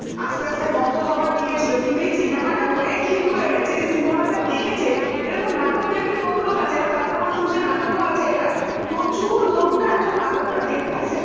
আস্তে আস্তে বন্ধ হওয়ার দিকে ছিল কিন্তু এই cinema টা হয়ে click করে এসেছে cinema টা দেখেছে এরকম নাটক দেখি কম লোক আছে এবং তারা যখন শুনছে নাটকও আছে এটা প্রচুর লোক না এখন নাটকটা দেখতে আসছে ব